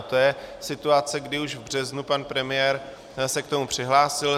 A to je situace, kdy už v březnu pan premiér se k tomu přihlásil.